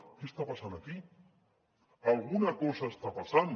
què està passant aquí alguna cosa està passant